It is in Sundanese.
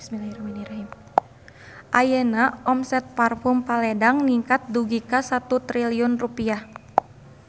Ayeuna omset Parfume Paledang ningkat dugi ka 1 triliun rupiah